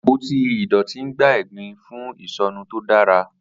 Apoti idọti n gba egbin fun isọnu to dara.